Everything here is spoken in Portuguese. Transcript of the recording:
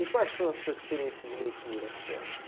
E quais foram as suas experiências de leitura? o senhor